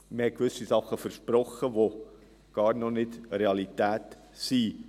Man hat gewisse Dinge versprochen, die noch überhaupt nicht Realität sind.